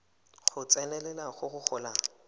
go tsenelela go go golang